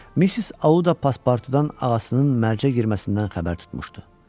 Missis Auda Paspartunun ağasının mərcə girməsindən xəbər tutmuşdu.